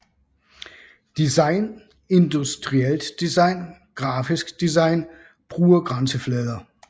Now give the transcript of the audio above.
Design Industrielt design Grafisk design Brugergrænseflader